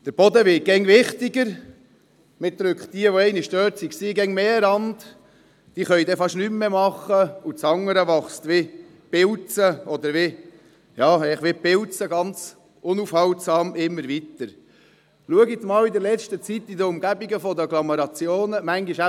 Der Boden wird immer wichtiger, und diejenigen, die immer schon dort waren, werden immer mehr an den Rand gedrückt;